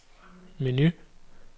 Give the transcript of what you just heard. menu